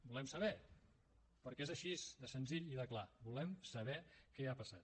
volem saber perquè és així de senzill i de clar volem saber què ha passat